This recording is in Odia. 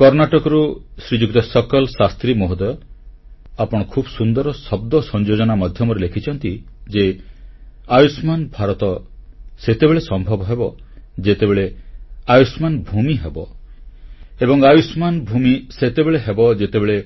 କର୍ଣ୍ଣାଟକରୁ ଶ୍ରୀଯୁକ୍ତ ଶକଲ୍ ଶାସ୍ତ୍ରୀ ମହୋଦୟ ଆପଣ ଖୁବ୍ ସୁନ୍ଦର ଶବ୍ଦ ସଂଯୋଜନା ମାଧ୍ୟମରେ ଲେଖିଛନ୍ତି ଯେ ଆୟୁଷ୍ମାନ ଭାରତ ସେତେବେଳେ ସମ୍ଭବ ହେବ ଯେତେବେଳେ ଆୟୂଷ୍ମାନ ଭୂମି ହେବ ଏବଂ ଆୟୂଷ୍ମାନ ଭୂମି ସେତେବେଳେ ହେବ ଯେତେବେଳେ